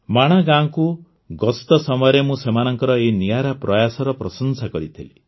ମାଣା ଗାଁକୁ ଗସ୍ତ ସମୟରେ ମୁଁ ସେମାନଙ୍କର ଏହି ନିଆରା ପ୍ରୟାସର ପ୍ରଶଂସା କରିଥିଲି